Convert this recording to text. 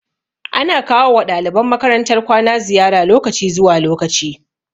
Ana kawo wa ɗaliban makarantar kwana ziyara lokaci zuwa lokaci